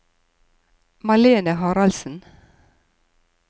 Malene Haraldsen